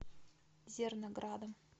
зерноградом